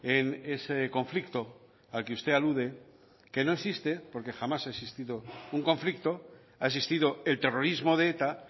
en ese conflicto al que usted alude que no existe porque jamás ha existido un conflicto ha existido el terrorismo de eta